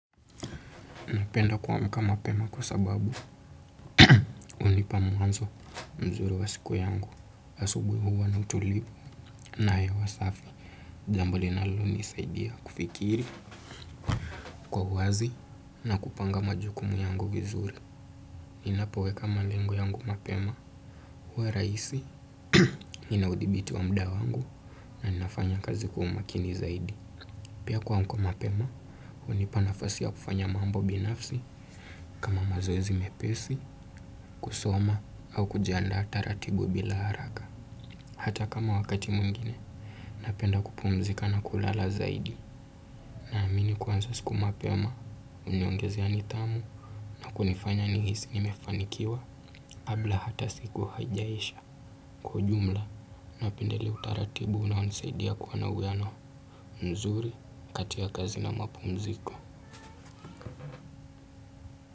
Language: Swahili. Napenda kuamka mapema kwa sababu unipa mwanzo mzuri wa siku yangu. Asubuhi huwa na utulivu na hewa safi. Jambo linalonisaidia kufikiri kwa wazi na kupanga majukumu ya ngu vizuri. Ninapoweka malengo yangu mapema. Huwa rahisi ninaudhibiti wa muda wangu na ninafanya kazi kwa umakini zaidi. Pia kuamka mapema hunipa nafasi ya kufanya mambo binafsi kama mazoezi mepesi kusoma. Au kujiandaa taratibu bila haraka hata kama wakati mwingine napenda kupumzika na kulala zaidi naamini kuanza siku mapema huniongezea nidhamu na kunifanya nihisi nimefanikiwa kabla hata siku hajaisha kwa ujumla napenda ule utaratibu unonisaidia kuwa na uwiano mzuri kati ya kazi na mapumziko.